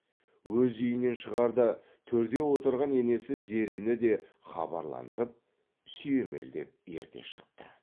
өз үйінен шығарда төрде отырған енесі зерені де хабарландырып сүйемелдеп ерте шықты